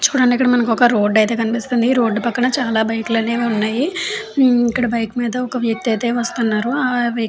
చూడండి మనకి ఇక్కడ ఒక రోడ్ అయితే కనిపిస్తుంది. ఈ రోడ్డు పక్కన చిన్న బైకు లు అయితే ఉన్నాయి. ఇక్కడ బైక్ మీద ఒక వ్యక్తి అయితే వస్తూ ఉన్నారు. ఆ వ్యక్--